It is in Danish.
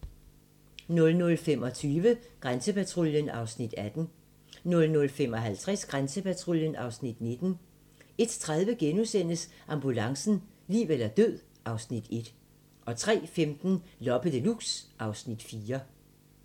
00:25: Grænsepatruljen (Afs. 18) 00:55: Grænsepatruljen (Afs. 19) 01:30: Ambulancen - liv eller død (Afs. 1)* 03:15: Loppe Deluxe (Afs. 4)